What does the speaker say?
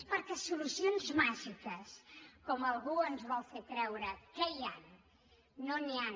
perquè solucions màgiques com algú ens vol fer creure que hi ha no n’hi han